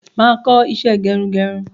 Máa kọ́ isẹ́ gerugeru